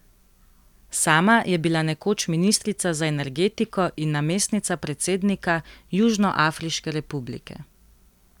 Sama je bila nekoč ministrica za energetiko in namestnica predsednika Južnoafriške republike.